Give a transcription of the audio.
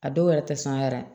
A dɔw yɛrɛ tɛ sɔn a yɛrɛ ye